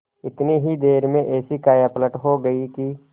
इतनी ही देर में ऐसी कायापलट हो गयी कि